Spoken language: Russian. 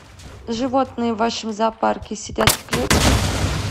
животные в вашем зоопарке сидят в клетке